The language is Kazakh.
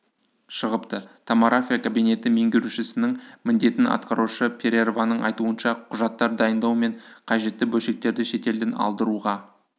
шығыпты томорафия кабинеті меңгерушісінің міндетін атқарушы перерваның айтуынша құжаттар дайындау мен қажетті бөлшектерді шетелден алдыруға